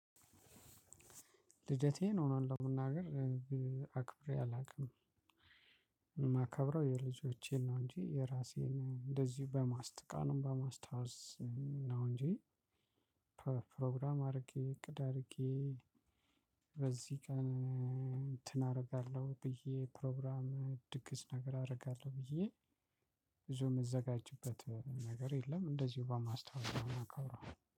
ልደቴን እውነት እለመናገር አክብሬ አላውቅም የማከብረው የልጆቼን ነው እንጂ የራሴን እንደዚሁ በማስታ ቀኑን በማስታወስ ነው። እንጂ ፕሮግራም አድርጌ እቅድ አድርጌ። በዚህ ቀን እንትን አደርጋለሁ ብዬ ፕሮግራም ድግስ ነገር አደርጋለሁ ብዬ ብዙ የምዘጋጅበት ነገር የለም። እንደዚሁ በማስታወስ ነው የምናከብረው